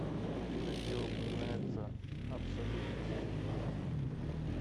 афина где упоминается абсолютность